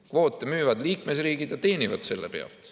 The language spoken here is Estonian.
Kvoote müüvad liikmesriigid ja teenivad selle pealt.